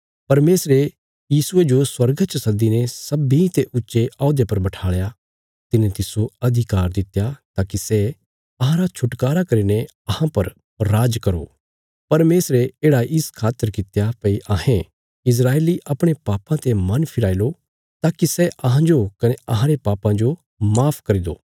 परमेशरे यीशुये जो स्वर्गा च सद्दीने सब्बींते ऊच्चे औहदे पर बठाल़या तिने तिस्सो अधिकार दित्या ताकि सै अहांरा छुटकारा करीने अहां पर राज करो परमेशरे येढ़ा इस खातर कित्या भई अहें इस्राएली अपणे पापां ते मन फिराई लो ताकि सै अहांजो कने अहांरे पापां जो माफ करी दो